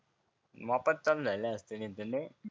वापस चालू झाले असते